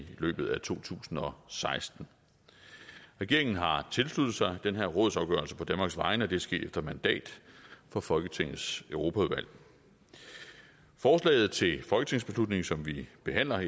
løbet af to tusind og seksten regeringen har tilsluttet sig den her rådsafgørelse på danmarks vegne og det er sket efter mandat fra folketingets europaudvalg forslaget til folketingsbeslutning som vi behandler